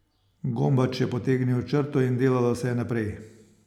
Gombač je potegnil črto in delalo se je naprej!